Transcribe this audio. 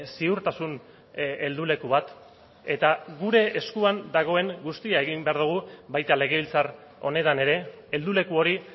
ziurtasun heldu leku bat eta gure eskuan dagoen guztia egin behar dugu baita legebiltzar honetan ere helduleku hori